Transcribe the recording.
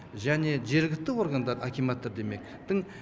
және жергілікті органдар акиматтар демек тың